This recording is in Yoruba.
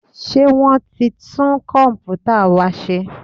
Ṣé wọ́n ti tún Kọ̀m̀pútà wa ṣe?